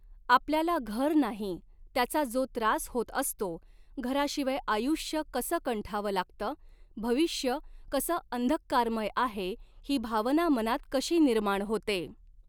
आपल्याला घर नाही, त्याचा जो त्रास होत असतो, घराशिवाय आयुष्य कसं कंठावं लागतं, भविष्य कसं अंधःकारमय आहे, ही भावना मनात कशी निर्माण होते.